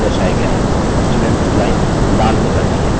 students line लाल हो जाती है